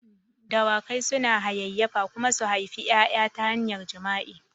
Dawakai suna hayayyafa kuma su haifi ƴaƴa ta hanyar jima'i.